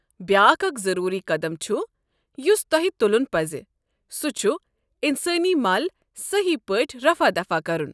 بیٛاکھ اکھ ضروٗری قدم چھٗ یٗس تۄہہ تٗلٗن پزِ، سوٗ چھٗ انسٲنی مل سہی پٲٹھۍ رفع دفع كرٗن ۔